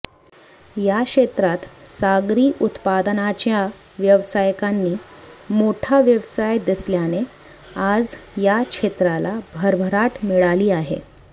या क्षेत्रात सागरी उत्पादनांच्या व्यावसायिकांनी मोठा व्यवसाय दिसल्याने आज या क्षेत्राला भरभराट मिळाली आहे